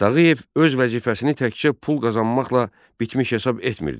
Tağıyev öz vəzifəsini təkcə pul qazanmaqla bitmiş hesab etmirdi.